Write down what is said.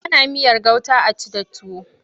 Ana miyar gauta a ci da tuwo.